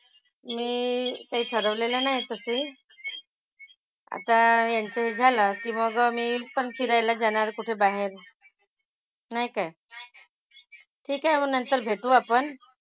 मी काही ठरवलेलं नाही तशी. आता यांचं हे झालं की मग मी पण फिरायला जाणार कुठं बाहेर. नाही काय? ठीक आहे. मग नंतर भेटू आपण.